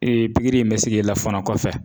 pikiri in bɛ se k'i la fɔnɔ kɔfɛ